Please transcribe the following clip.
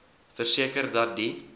verseker dat die